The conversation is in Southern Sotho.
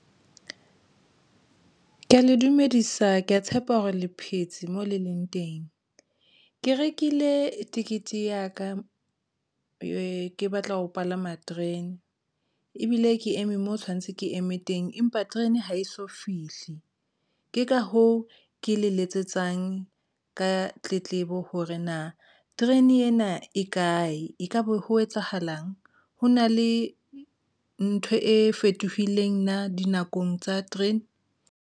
Ke ya le dumedisa, ke ya tshepa hore le phetse moo le leng teng. Ke rekile ticket ya ka ke batla ho palama terene, ebile ke eme moo tshwanetse ke eme teng, empa terene ha eso fihle. Ke ka hoo ke le letsetsang ka tletlebo hore na terene ena e kae. Ekabe ho etsahalang. Ho na le ntho e fetohileng na dinakong tsa terene?